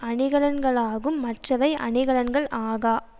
அணிகலன்களாகும் மற்றவை அணிகலன்கள் ஆகா